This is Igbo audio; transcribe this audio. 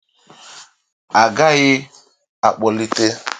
A gaghị akpọlite